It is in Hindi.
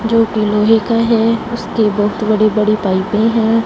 जो की लोहे का है उसके बहोत बड़े बड़े पाइपे हैं।